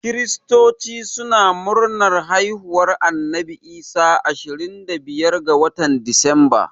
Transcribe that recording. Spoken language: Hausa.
Kiristoci suna murnar haihuwar Annabi Isa ashirin da biyar ga watan Disamba